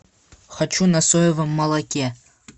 хочу на соевом молоке